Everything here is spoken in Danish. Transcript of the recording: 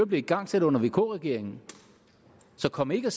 blev igangsat under vk regeringen så kom ikke og